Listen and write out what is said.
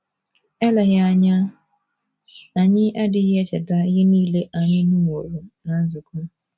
Eleghị anya, anyị adịghị echeta ihe nile anyị nụworo ná nzukọ.